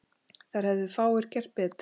Þar hefðu fáir gert betur.